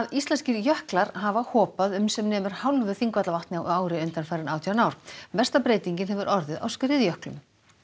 íslenskir jöklar hafa hopað um sem nemur hálfu Þingvallavatni á ári undanfarin átján ár mesta breytingin hefur orðið á skriðjöklum